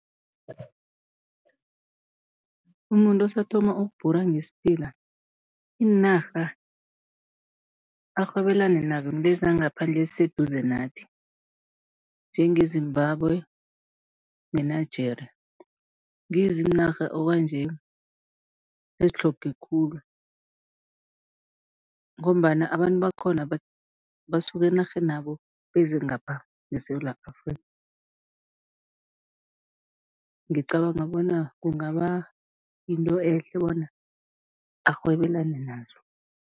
Umuntu osathoma ukubhura ngesiphila, iinarha arhwebelane nazo ngilezi zangaphandle eziseduze nathi njengeZimbabwe ne-Nigeria, ngizo iinarha okwanje ezitlhoge khulu. Ngombana abantu bakhona basuka enarheni yabo beze ngapha ngeSewula Afrika, ngicabanga bona kungaba yinto ehle bona arhwebelane nazo.